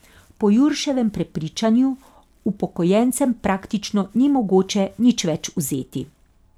Po Jurševem prepričanju upokojencem praktično ni mogoče nič več vzeti.